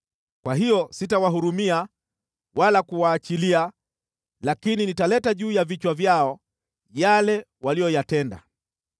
Kwa hiyo sitawahurumia wala kuwaachilia lakini nitaleta juu ya vichwa vyao, yale waliyoyatenda.”